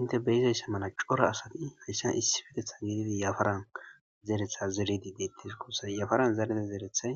Inte beyizaysse mana cora asati hayssan issifetetha geedidi yafaran zeretha zeredi deettes gussay yafaran zerede zeerethay